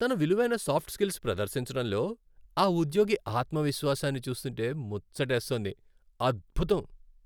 తన విలువైన soft skills ప్రదర్శించడంలో ఆ ఉద్యోగి ఆత్మ విశ్వాసాన్ని చూస్తుంటే ముచ్చటేస్తోంది. అద్భుతం!